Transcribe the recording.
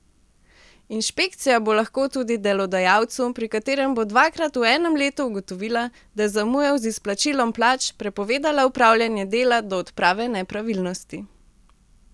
Inšpekcija bo lahko tudi delodajalcu, pri katerem bo dvakrat v enem letu ugotovila, da je zamujal z izplačilom plač, prepovedala opravljanje dela do odprave nepravilnosti.